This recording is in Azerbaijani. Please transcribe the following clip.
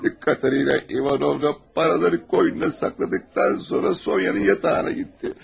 Katarina İvanovna paraları qoynuna saxladıqdan sonra Sonya'nın yatağına getdi.